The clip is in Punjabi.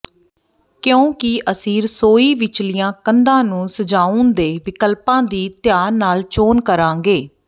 ਕਿਉਂਕਿ ਅਸੀਂ ਰਸੋਈ ਵਿਚਲੀਆਂ ਕੰਧਾਂ ਨੂੰ ਸਜਾਉਣ ਦੇ ਵਿਕਲਪਾਂ ਦੀ ਧਿਆਨ ਨਾਲ ਚੋਣ ਕਰਾਂਗੇ